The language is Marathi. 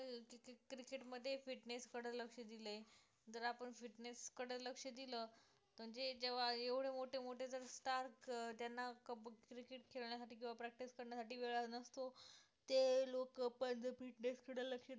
fitness कडे लक्ष दिले जर आपण fitness कडे लक्ष दिलं पण जे जेव्हा एवढे मोठे मोठे जर STAR त्यांना cricket खेळण्यासाठी किंवा practice करण्यासाठी वेळ नसतो ते लोकं पण fitness कडे लक्ष देतात